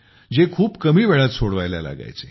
जे खूप कमी वेळात करायला लागायचे